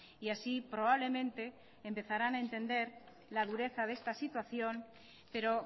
y así probablemente empezarán a entender la dureza de esta situación pero